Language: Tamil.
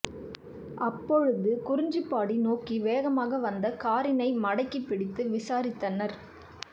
அப்பொழுது குறிஞ்சிப்பாடி நோக்கி வேகமாக வந்த காரினை மடக்கி பிடித்து விசாரித்தனர்